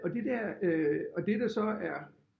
Og det der øh og det der så er